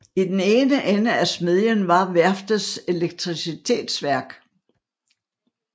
I den ene ende af smedjen var værftets elektricitetsværk